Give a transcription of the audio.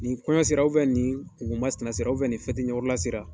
Ni kɔɲɔ sera u fɛ nin kunko masinɛ sera u fɛ nin fɛti ɲɛkɔrɔla sera